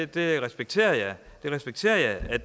det respekterer jeg jeg respekterer at